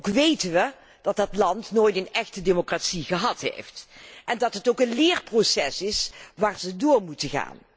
Wij wéten ook dat dat land nooit een echte democratie gehad heeft en dat het ook een leerproces is waar zij doorheen moeten.